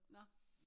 Nå